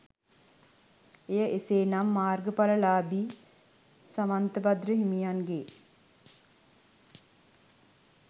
එය එසෙනම් මාර්ගපලලාබි සමන්තබද්‍ර හිමිගෙ